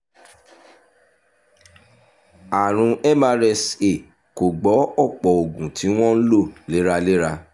àrùn mrsa kò gbọ́ ọ̀pọ̀ oògùn tí wọ́n ń lò léraléra